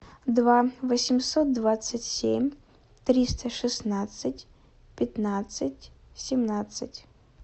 два восемьсот двадцать семь триста шестнадцать пятнадцать семнадцать